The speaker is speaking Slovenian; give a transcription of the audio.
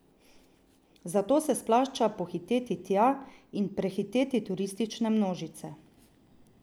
Zato se splača pohiteti tja in prehiteti turistične množice.